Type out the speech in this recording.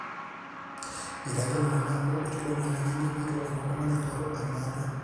eitayiolo nena amu eitodolu ajo kanyoo pee eitu elo oltung'ani aing'oru embaata